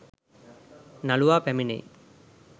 නළුවා පැමිණෙයි